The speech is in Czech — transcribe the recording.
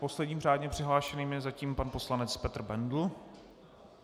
Posledním řádně přihlášeným je zatím pan poslanec Petr Bendl.